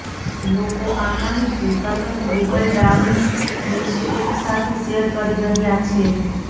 લોકો આ માહિતી સતત ગૂગલ ડાઉન હેશટેગ સાથે શેર કરી રહ્યાં છે